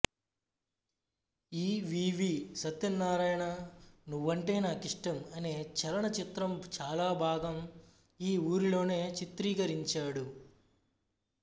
ఇ V V Satyanarayana Nuvvante Naakishtam అనే చలన చిత్రం చాలా భాగం ఈ ఊరిలోనే చిత్రీకరించాడు